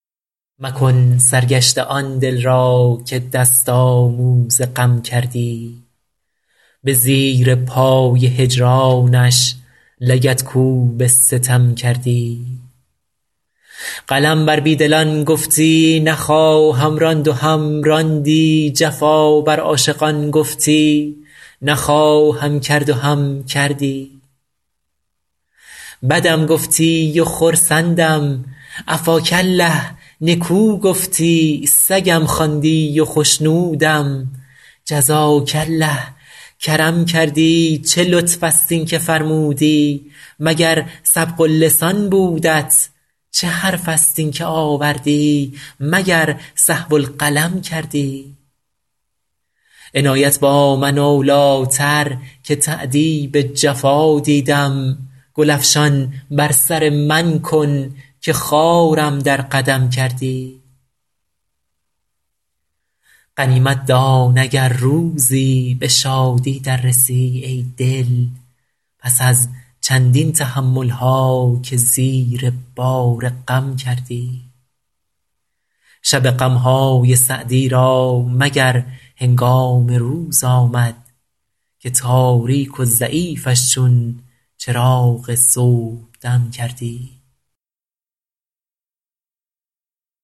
مکن سرگشته آن دل را که دست آموز غم کردی به زیر پای هجرانش لگدکوب ستم کردی قلم بر بی دلان گفتی نخواهم راند و هم راندی جفا بر عاشقان گفتی نخواهم کرد و هم کردی بدم گفتی و خرسندم عفاک الله نکو گفتی سگم خواندی و خشنودم جزاک الله کرم کردی چه لطف است این که فرمودی مگر سبق اللسان بودت چه حرف است این که آوردی مگر سهو القلم کردی عنایت با من اولی تر که تأدیب جفا دیدم گل افشان بر سر من کن که خارم در قدم کردی غنیمت دان اگر روزی به شادی در رسی ای دل پس از چندین تحمل ها که زیر بار غم کردی شب غم های سعدی را مگر هنگام روز آمد که تاریک و ضعیفش چون چراغ صبحدم کردی